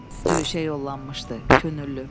Döyüşə yollanmışdı könüllü.